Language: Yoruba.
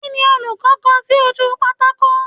Kíni olùkọ́ kọ sí ojú pátákò?